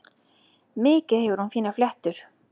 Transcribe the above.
Mikið hefur hún fínar fléttur.